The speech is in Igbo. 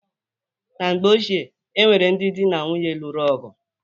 Na mgbe ochie, o nwere ndị dị na nwunye lụrụ ọgụ.